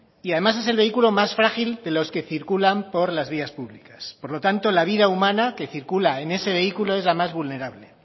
y además es el vehículo más frágil de los que circulan por las vías públicas por lo tanto la vida humana que circula en ese vehículo es la más vulnerable